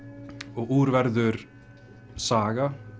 úr verður saga